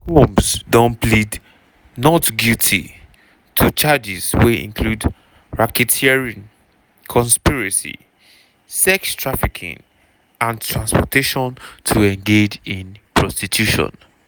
combs don plead not guilty to charges wey include racketeering conspiracy sex trafficking and transportation to engage in prostitution.